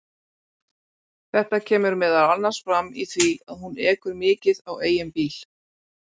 Þetta kemur meðal annars fram í því að hún ekur mikið á eigin bíl.